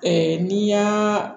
n'i y'aaa